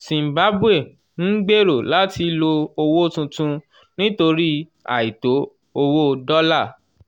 zimbabwe ń gbèrò láti lo owó tuntun nítorí àìtó owó dọ́là